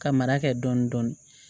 Ka mara kɛ dɔɔni dɔɔni